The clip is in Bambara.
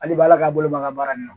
Hali baala k'a bolo maka baara nin na